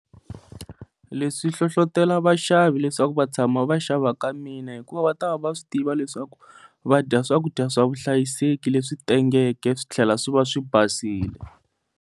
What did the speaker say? Leswi swi hlohlotelo vaxavi leswaku va tshama va xava ka mina hikuva va ta va va swi tiva leswaku va dya swakudya swa vuhlayiseki leswi tengeke swi tlhela swi va swi basile.